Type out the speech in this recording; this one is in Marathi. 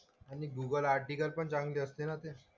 आणि गूगल आर्टिकल पण चांगले असते ना ते.